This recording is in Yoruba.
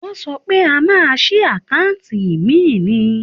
Wọ́n sọ pé a máa ṣí àkáǹtì ìmíì ni.